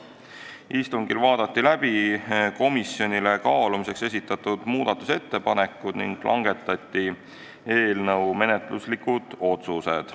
Istungil vaadati läbi komisjonile kaalumiseks esitatud muudatusettepanekud ning langetati eelnõu kohta menetluslikud otsused.